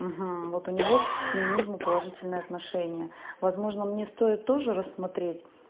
вот у него к феминизму положительное отношение возможно мне стоит тоже рассмотреть